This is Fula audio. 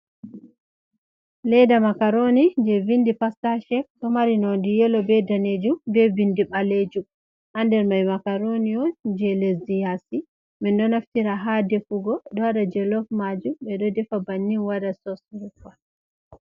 Leda makaroni je vindi pasta shet, ɗo mari nondi yelo be danejum be bindi ɓalejum.ha nder mai makaroni je lezdi yasi, min ɗo naftira ha defugo ɗo waɗa jelofmajum ɓe ɗo defa bannin waɗa sos rufa.